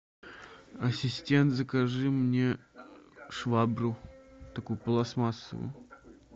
ассистент закажи мне швабру такую пластмассовую